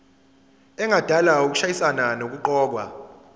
engadala ukushayisana nokuqokwa